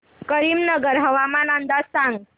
करीमनगर हवामान अंदाज सांग